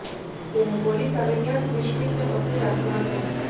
તેણે પોલીસ આવે ત્યાં સુધી શ્મિટને પકડી રાખ્યો હતો